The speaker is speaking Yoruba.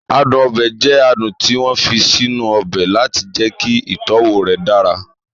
Adùn ọbẹ̀ jẹ adùn tí wọ́n fi sínú ọbẹ̀ láti jẹ́kí ìtọ́wọ̀ rẹ̀ dára